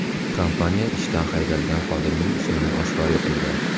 Kompaniya ishdan haydalgan xodimning ismini oshkor etmagan.